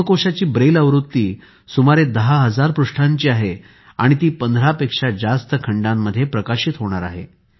हेमकोशाची Braille आवृत्ती सुमारे 10000 पृष्ठांची आहे आणि ती 15 पेक्षा जास्त खंडांमध्ये प्रकाशित होणार आहे